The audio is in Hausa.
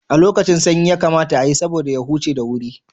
A lokacin sanyi yakamata ayi, saboda ya huce da wuri.